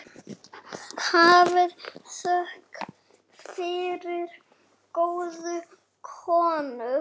Hafið þökk fyrir góðu konur.